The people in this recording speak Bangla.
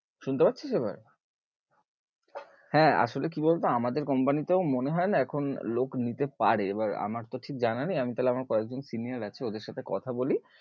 শুনতে পারছিস এবার? হ্যাঁ আসোলে কি বল তো আমাদের company তেও মনেহয়েনা এখন লোক নিতে পারে, এবার আমার তো ঠিক জানা নেই আমার তাহলে কয়েকজন senior আছে ওদের সাথে কথা বলি